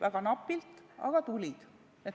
Väga napilt, aga tulid.